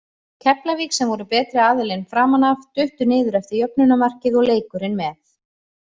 Keflavík, sem voru betri aðilinn framan af, duttu niður eftir jöfnunarmarkið og leikurinn með.